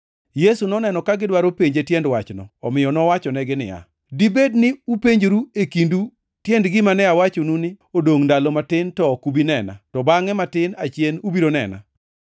Yesu noneno ka gidwaro penje tiend wachno, omiyo nowachonegi niya, “Dibed ni upenjoru e kindu tiend gima ne awachonu ni, ‘Odongʼ ndalo matin to ok ubi nena, to bangʼe matin achien ubiro nena?’